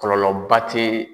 Kɔlɔlɔba ti